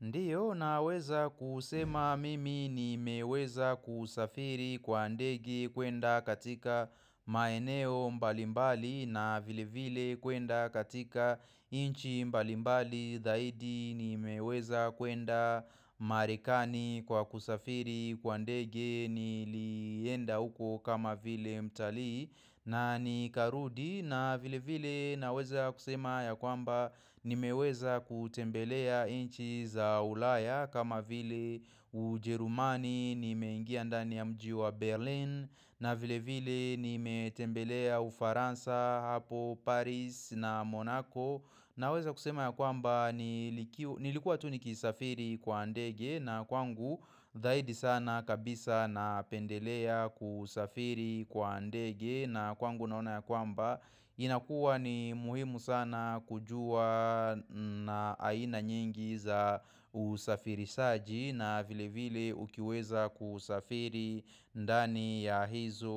Ndio naweza kusema mimi nimeweza kusafiri kwa ndege kuenda katika maeneo mbalimbali na vile vile kuenda katika nchi mbalimbali zaidi nimeweza kuenda marekani kwa kusafiri kwa ndege nilienda uko kama vile mtalii na nikarudi na vile vile naweza kusema ya kwamba nimeweza kutembelea nchi za ulaya kama vile ujerumani nimengia ndani ya mji wa Berlin na vile vile nimetembelea ufaransa hapo Paris na Monaco na weza kusema ya kwamba nilikuwa tu nikisafiri kwa ndege na kwangu zaidi sana kabisa napendelea kusafiri kwa ndege na kwangu naona ya kwamba inakua ni muhimu sana kujua na aina nyingi za usafirishaji na vile vile ukiweza kusafiri ndani ya hizo